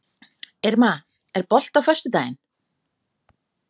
Irma, er bolti á föstudaginn?